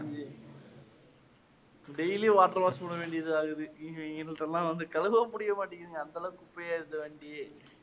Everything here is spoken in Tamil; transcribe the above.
daily water wash உட வேண்டியதா இருக்குது வந்து கழுவ முடியமாட்டேங்கிதுங்க அந்தளவு குப்பையா இருக்குது வண்டியே.